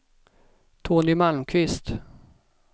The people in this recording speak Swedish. Tony Malmqvist